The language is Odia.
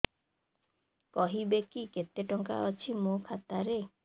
କହିବେକି କେତେ ଟଙ୍କା ଅଛି ମୋ ଖାତା ରେ